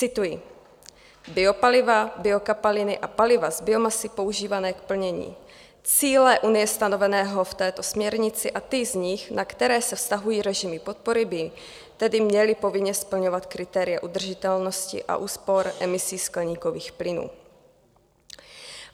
Cituji: "Biopaliva, biokapaliny a paliva z biomasy používané k plnění cíle unie stanoveného v této směrnici a ty z nich, na které se vztahují režimy podpory, by tedy měly povinně splňovat kritéria udržitelnosti a úspor emisí skleníkových plynů."